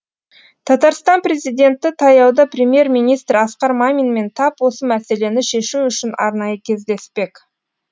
татарстанпрезиденті таяуда премьер министр асқар маминмен тап осы мәселені шешу үшін арнайы кездеспек